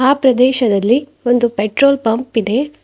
ಆ ಪ್ರದೇಶದಲ್ಲಿ ಒಂದು ಪೆಟ್ರೋಲ್ ಪಂಪ್ ಇದೆ.